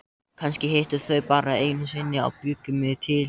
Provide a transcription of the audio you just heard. Kannski hittust þau bara einu sinni og bjuggu mig til.